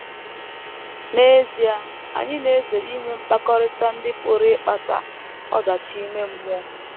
N’ezie, anyị na - ezere inwe mkpakọrịta ndị pụrụ ịkpata ọdachi ime mmụọ.